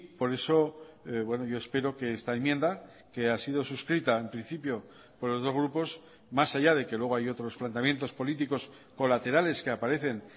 por eso yo espero que esta enmienda que ha sido suscrita en principio por los dos grupos más allá de que luego hay otros planteamientos políticos colaterales que aparecen